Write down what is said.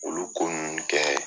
Olu ko kɛninnu kɛ